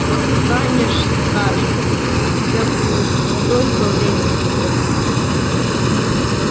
вот станешь старше у тебя будет столько времени и возможностей